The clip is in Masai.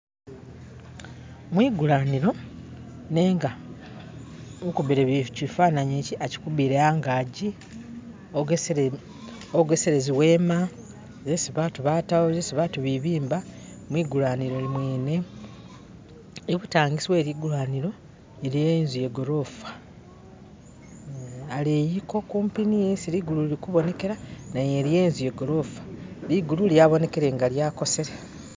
mwigulanilo nenga ukubile kyifananyi ikyi akyikubile angakyi ogesele ziwema zesi batu batawo zesi batu bibimba mwigulanilo mwene ibutangisi weligulanilo yene iliwo inzu yagolofa aleyiko kumpi ni isi ligulu lilikubonekela naye iliyo inzu yagolofa ligulu lyabonekele nga lyakosele